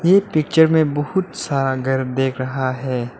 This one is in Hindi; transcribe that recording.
एक पिक्चर में बहुत सारा घर देख रहा है।